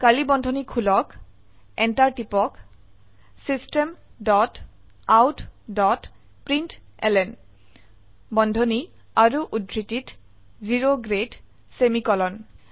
curly বন্ধনী খুলক enter টিপক system dot out dot println বন্ধনী আৰু উদ্ধৃতিত O গ্ৰেড সেমিকোলন